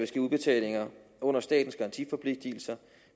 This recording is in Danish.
ske udbetalinger under statens garantiforpligtelser